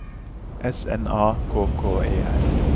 S N A K K E R